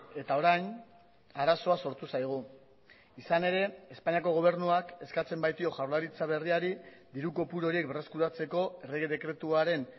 eta orain arazoa sortu zaigu izan ere espainiako gobernuak eskatzen baitio jaurlaritza berriari diru kopuru horiek berreskuratzeko errege dekretuaren